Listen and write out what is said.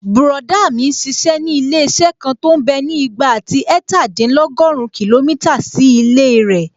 Bùrọ̀dá mi n ṣiṣẹ́ ní ilé-iṣẹ́ kan tó mbẹ́ ní ìgbà àti ẹ̀ẹ̀tàdínlọ́gùrún kìlómítà sí ilé rẹ̀